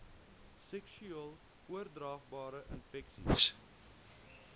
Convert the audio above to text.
seksueel oordraagbare infeksies